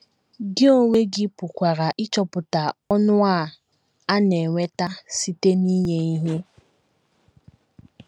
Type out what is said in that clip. Gị onwe gị pụkwara ịchọpụta ọṅụ a a na - enweta site n’inye ihe.